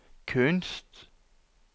kunst